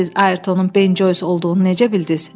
“Bəs siz Ayrtonun Ben Joys olduğunu necə bildiz?”